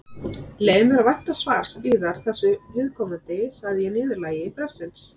Ég leyfi mér að vænta svars yðar þessu viðkomandi, sagði ég í niðurlagi bréfsins.